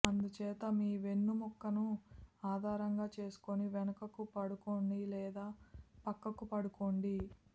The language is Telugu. అందుచేత మీ వెన్నుముక్కను ఆధారంగా చేసుకొని వెనుకకు పడుకోండి లేదా పక్కకు పడుకోండి